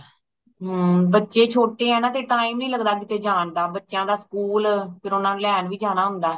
ਹੰ ਬਚੇ ਛੋਟੇ ਹੈ ਨਾ ਤੇ time ਨਹੀਂ ਲਗਦਾ ਕਿਧਰੇ ਜਾਨ ਦਾ ਬੱਚਿਆਂ ਦਾ school ਓਹਨਾ ਨੂੰ ਲੈਣ ਵੀ ਜਾਣਾ ਹੁੰਦਾ